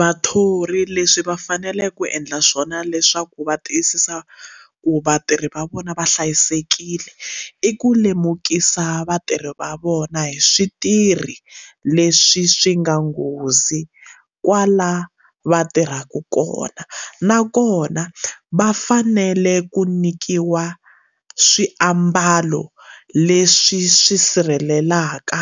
Vathori leswi va faneleke ku endla swona leswaku va tiyisisa ku vatirhi va vona va hlayisekile i ku lemukisa vatirhi va vona hi switirhi leswi swi nga nghozi kwala va tirhaka kona nakona va fanele ku nyikiwa swiambalo leswi swi sirhelelaka